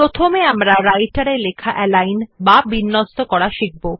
প্রথমে আমরা Writer এ লেখা অ্যালিগন বা বিন্যস্ত করা শিখব